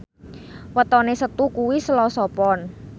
wetone Setu kuwi Selasa Pon